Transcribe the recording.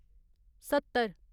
सत्तर